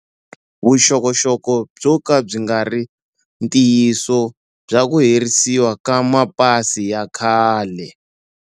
Vuxokoxoko byo kala byi nga ri ntiyiso bya ku herisiwa ka mapasi ya khale